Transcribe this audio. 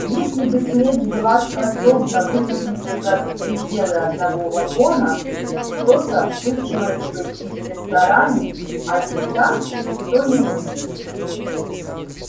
если бы смерть была способна выплеснуться за пределы одного вагона что-то случилось бы и в ресторане а ведь там никто не умер